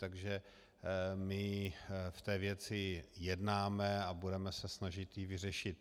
Takže my v té věci jednáme a budeme se snažit ji vyřešit.